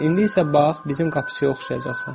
İndi isə bax bizim qapıçıya oxşayacaqsan.